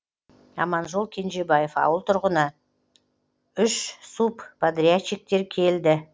аманжол кенжебаев ауыл тұрғыны үш субподрядчиктер келді